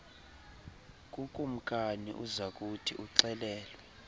kukumkani uzakuthi uxelelwe